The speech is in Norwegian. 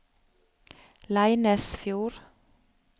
Leinesfjord